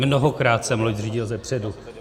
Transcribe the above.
Mnohokrát jsem loď řídil zepředu.